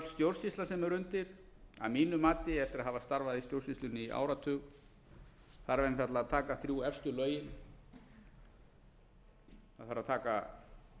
stjórnsýslan sem er undir að mínu mati eftir að hafa starfað í stjórnsýslunni í áratug það þarf reyndar að taka þrjú efstu lögin það þarf að taka